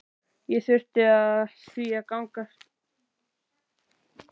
Ég þurfti því að gangast undir aðgerð.